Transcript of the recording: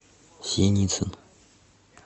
синицин